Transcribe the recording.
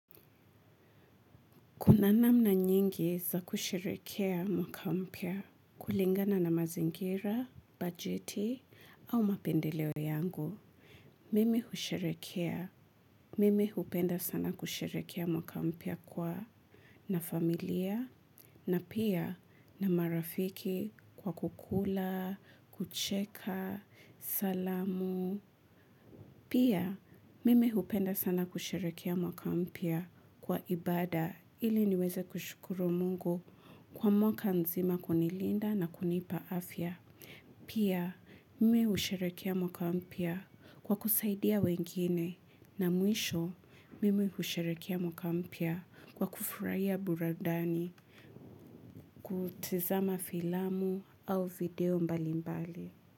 Kuna namna nyingi za kusherekea mwaka mpya kulingana na mazingira, bajeti au mapendeleo yangu. Mimi husherekea. Mimi hupenda sana kusherekea mwaka mpya kwa na familia na pia na marafiki kwa kukula, kucheka, salamu. Pia mimi hupenda sana kusherekea mwaka mpya kwa ibada ili niweze kushukuru mungu kwa mwaka nzima kunilinda na kunipa afya. Pia mimi husherekea mwaka mpya kwa kusaidia wengine na mwisho mimi husherekea mwaka mpya kwa kufurahia burudani kutizama filamu au video mbalimbali.